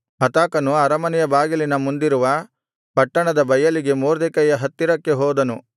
ಹತಾಕನು ಅರಮನೆಯ ಬಾಗಿಲಿನ ಮುಂದಿರುವ ಪಟ್ಟಣದ ಬಯಲಿಗೆ ಮೊರ್ದೆಕೈಯ ಹತ್ತಿರ ಹೋದನು